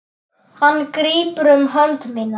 Hann grípur um hönd mína.